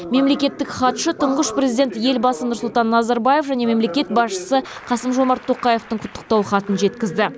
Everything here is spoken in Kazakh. мемлекеттік хатшы тұңғыш президент елбасы нұрсұлтан назарбаев және мемлекет басшысы қасым жомарт тоқаевтың құттықтау хатын жеткізді